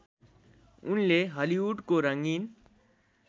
उनले हलिउडको रङ्गीन